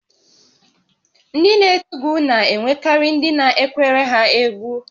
Ndị na-eti egwu na-enwekarị ndị na-ekwere ha egwú